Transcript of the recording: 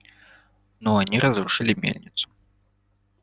но они разрушили мельницу